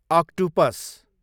octopus